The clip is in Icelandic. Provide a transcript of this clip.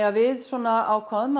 að við ákváðum